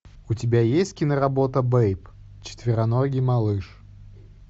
у тебя есть киноработа бейб четвероногий малыш